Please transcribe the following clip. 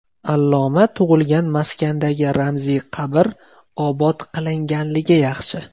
Alloma tug‘ilgan maskandagi ramziy qabr obod qilinganligi yaxshi.